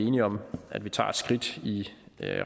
enige om at vi tager et skridt i